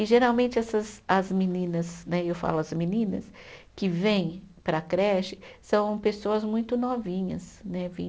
E geralmente essas as meninas né, e eu falo as meninas, que vêm para a creche, são pessoas muito novinhas né